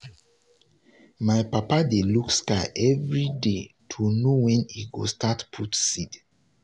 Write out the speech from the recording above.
my papa dey look sky every day to know when e go start put seed.